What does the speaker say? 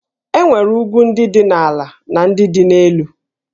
E nwere ugwu ndị dị ala na ndị dị elu